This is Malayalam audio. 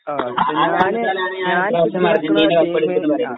ആ ആ ഞാന് ഞാന് ആ